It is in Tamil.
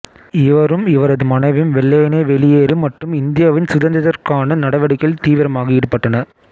இவரும் இவரது மனைவியும் வெள்ளையனே வெளியேறு மற்றும் இந்தியாவின் சுதந்திரத்திற்கான நடவடிக்கைகளில் தீவிரமாக ஈடுபட்டனர்